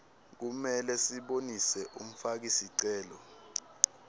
kumele sibonise umfakisicelo